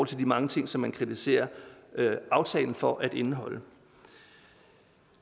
til de mange ting som man kritiserer aftalen for at indeholde